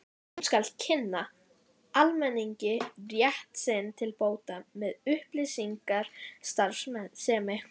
Hún skal kynna almenningi rétt sinn til bóta með upplýsingastarfsemi.